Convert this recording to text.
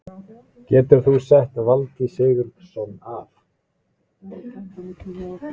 Getur þú sett Valtý Sigurðsson af?